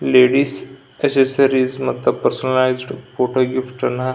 ಇಲ್ಲಿ ladies accessories ಮತ್ತು personalised photo gift ಗಳನ್ನ--